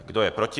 Kdo je proti?